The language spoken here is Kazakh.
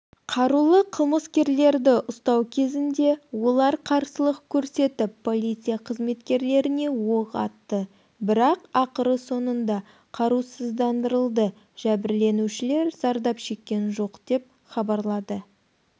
қарулы қылмыскерлерді ұстау кезінде олар қарсылық көрсетіп полиция қызметкерлеріне оқ атты бірақ ақыры соңында қарусыздандырылды жәбірленушілер зардап шеккен жоқ деп хабарлады